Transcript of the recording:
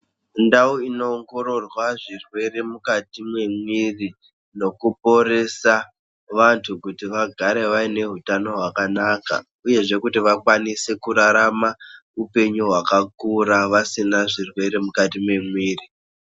Ndau inoongororwa zvirwere mukati memwiri nokuporesa vantu kuti vagare vaine utano hwakanaka uyezve kuti vakwanise kurarama upenyu hwakakura vasina zvirwere mukati memwiri.